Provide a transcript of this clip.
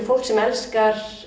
fólk sem elskar